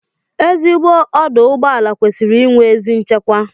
Ezigbo ọdụụgbọala kwesịrị inwe ezi nchekwa